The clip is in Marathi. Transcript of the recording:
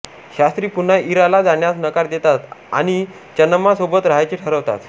शास्त्री पुन्हा इराला जाण्यास नकार देतात आणि चन्नम्मा सोबत राहायचे ठरवतात